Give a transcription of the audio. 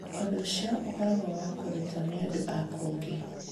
Ũndũ ũcio ũkoragwo ũrĩ wa kũrutwo nĩ andũ a kũngĩ.